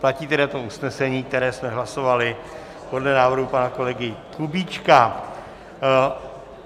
Platí tedy to usnesení, které jsme hlasovali podle návrhu pana kolegy Kubíčka.